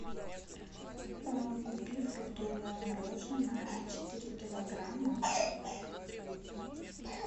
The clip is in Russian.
купи фруктовое мороженое четыре килограмма